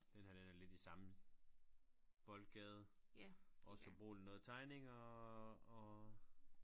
Denne her den er lidt i samme boldgade og så bruger de noget tegninger og